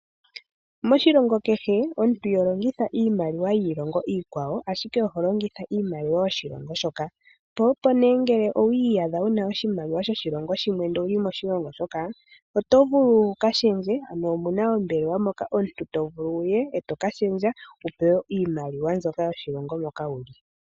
Moshilongo kehe omuntu iho longitha iimaliwa yiilongo iikwawo ashike oho longitha iimaliwa yoshilongo shoka . Po opo ngele owiiyadha wu na oshimaliwa shoshilongo shimwe ndele owuli moshilongo shoka oto vulu wu ka shendje. Ano omu na ombelewa moka omuntu to vulu wu ye eto ka shendja wu pewe iimaliwa mbyoka yoshilongo moka wu li.